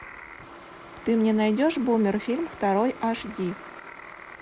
ты мне найдешь бумер фильм второй аш ди